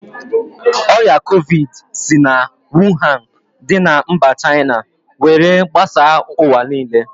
Ọrịa covidi si na Wuhan dị na mba China were gbasaa ụwa niile